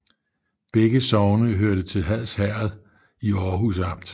Begge sogne hørte til Hads Herred i Aarhus Amt